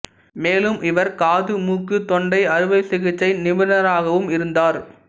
மேலும் இவர் காது மூக்கு தொண்டை அறுவை சிகிச்சை நிபுணராகவும் இருந்தார்